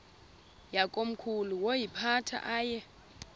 yakomkhulu woyiphatha aye